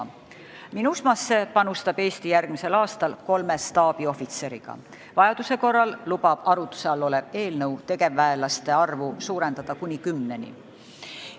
MINUSMA-sse panustab Eesti järgmisel aastal kolme staabiohvitseriga, vajaduse korral lubab arutluse all olev eelnõu tegevväelaste arvu suurendada kuni kümneni.